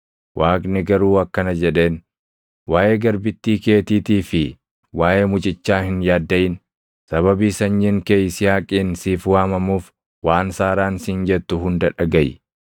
Waaqni garuu akkana jedheen; “Waaʼee garbittii keetiitii fi waaʼee mucichaa hin yaaddaʼin. Sababii sanyiin kee Yisihaaqiin siif waamamuuf waan Saaraan siin jettu hunda dhagaʼi.